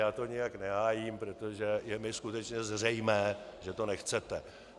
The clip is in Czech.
Já to nijak nehájím, protože je mi skutečně zřejmé, že to nechcete.